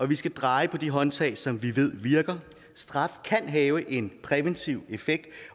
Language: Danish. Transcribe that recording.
vi skal dreje på de håndtag som vi ved virker straf kan have en præventiv effekt